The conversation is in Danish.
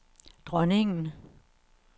dronningen